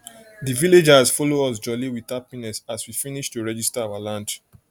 dey villagers follow us jolly with happiness as we finis to regista our land